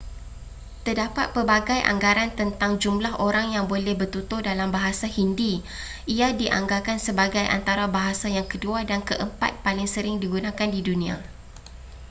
terdapat pelbagai anggaran tentang jumlah orang yang boleh bertutur dalam bahasa hindi ia dianggarkan sebagai antara bahasa yang kedua dan keempat paling sering digunakan di dunia